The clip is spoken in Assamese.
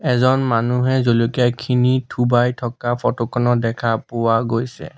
এজন মানুহে জলকীয়া খিনি থোবাই থকা ফটো খনত দেখা পোৱা গৈছে।